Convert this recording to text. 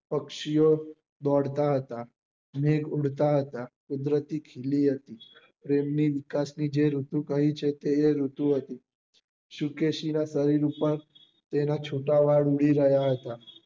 પક્ષી ઓ દોડતા હતા ને ઉડતા હતા કુદરતી ખીલી હતી એમની વિકાસ ની જે ઋતુ કહી છે તે એ ઋતુ હતી શુકેશી ના પગ પર તેના છુટા વાળ ઉડી રહ્યા હતા